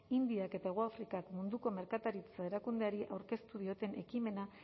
indiak eta hegoafrikak munduko merkataritza erakundeari aurkeztu dioten ekimena